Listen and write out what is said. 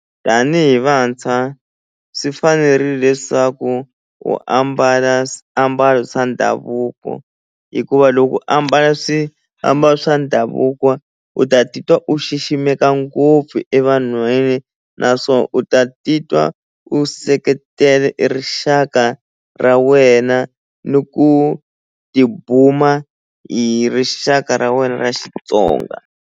Tanihi vantshwa swi fanerile leswaku u ambala swiambalo swa ndhavuko hikuva loko u ambala swiambalo swa ndhavuko u ta titwa u xiximeka ngopfu evanhwini na swo u ta titwa u seketele e rixaka ra wena ni ku tibuma hi rixaka ra wena ra Xitsonga.